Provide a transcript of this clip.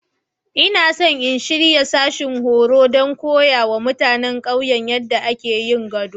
Ina so in shirya sashin horo don koya wa mutanen ƙauyena yadda ake yin gado.